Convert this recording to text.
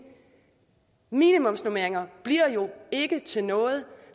minimumsnormeringer bliver jo ikke til noget